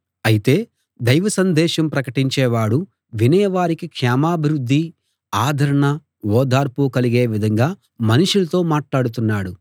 అయితే దైవసందేశం ప్రకటించేవాడు వినేవారికి క్షేమాభివృద్ధి ఆదరణ ఓదార్పు కలిగే విధంగా మనుషులతో మాట్లాడుతున్నాడు